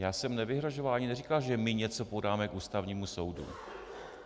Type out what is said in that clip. Já jsem nevyhrožoval ani neříkal, že my něco podáme k Ústavnímu soudu.